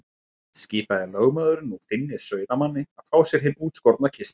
Skipaði lögmaður nú Finni sauðamanni að fá sér hinn útskorna kistil.